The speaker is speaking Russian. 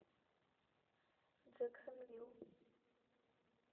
джэксонвилл